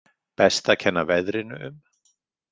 Best að kenna veðrinu um.